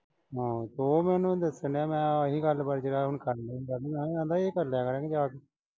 ਹਾਂ ਉਹ ਮੈਨੂੰ ਦੱਸਣ ਡਿਆ। ਮੈਂ ਆਹੀ ਗੱਲ ਵਾ ਜਿਹੜਾ ਹੁਣ ਕਰਨੀ ਸੀ। ਆਂਹਦਾ ਇਹ ਕਰਲਿਆ ਕਰਾਂਗੇ ਆ ਕੇ।